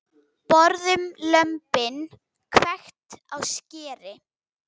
Borðum lömbin, hvekkt á skeri.